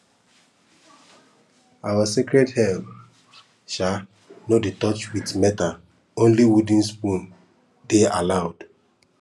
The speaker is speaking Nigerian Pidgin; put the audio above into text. our sacred herb um no dey touch with metalonly wooden spoon dey allowed